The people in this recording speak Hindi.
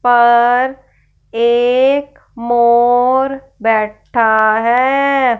पर एक मोर बैठा है।